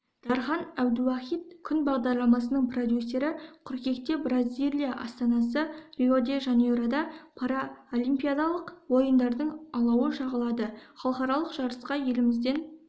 дархан әбдуахит күн бағдарламасының продюсері қыркүйекте бразилия астанасы рио-де-жанейрода паралимпиадалық ойындардың алауы жағылады халықаралық жарысқа елімізден